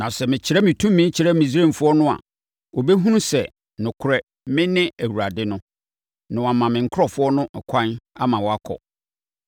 Na sɛ mekyerɛ me tumi kyerɛ Misraimfoɔ no a, wɔbɛhunu sɛ, nokorɛ, mene Awurade no, na wɔama me nkurɔfoɔ no ɛkwan ama wɔakɔ.”